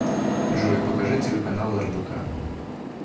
джой покажи телеканал рбк